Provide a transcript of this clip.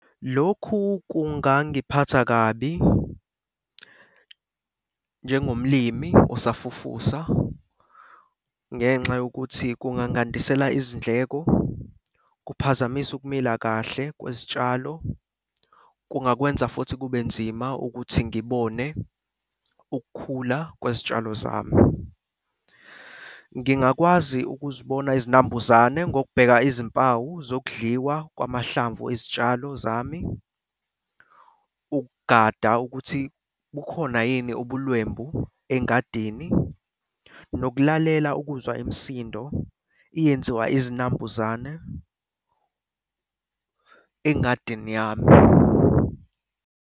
Lokhu kungangiphatha kabi njengomlimi osafufusa ngenxa yokuthi kungangandisela izindleko, kuphazamise ukumila kahle kwezitshalo. Kungakwenza futhi kube nzima ukuthi ngibone ukukhula kwezitshalo zami. Ngingakwazi ukuzibona izinambuzane ngokubheka izimpawu zokudliwa kwamahlamvu ezitshalo zami, ukugada ukuthi bukhona yini ubulwembu engadini, nokulalela ukuzwa imisindo iyenziwa izinambuzane engadini yami.